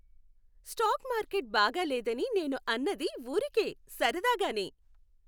Stock market బాగా లేదని నేను అన్నది ఊరికే సరదాగానే.